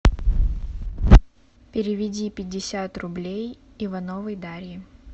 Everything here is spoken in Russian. переведи пятьдесят рублей ивановой дарье